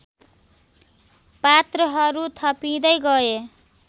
पात्रहरू थपिँदै गए